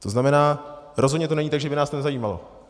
To znamená, rozhodně to není tak, že by nás to nezajímalo.